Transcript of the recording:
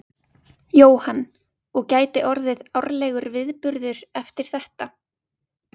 Jóhann: Og gæti orðið árlegur viðburður eftir þetta?